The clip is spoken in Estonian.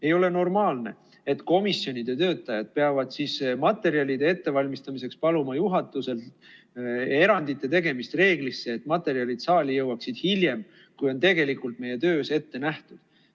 Ei ole normaalne, et komisjonide töötajad peavad siis materjalide ettevalmistamiseks paluma juhatuselt erandite tegemist reeglist, et materjalid saali jõuaksid hiljem, kui on tegelikult meie töös ette nähtud.